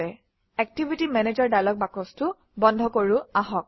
activity manager dialog বাকচটো বন্ধ কৰোঁ আহক